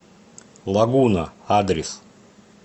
лагуна адрес